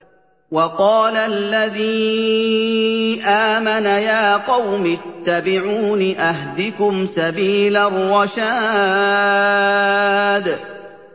وَقَالَ الَّذِي آمَنَ يَا قَوْمِ اتَّبِعُونِ أَهْدِكُمْ سَبِيلَ الرَّشَادِ